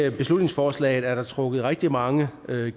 i beslutningsforslaget er der trukket rigtig mange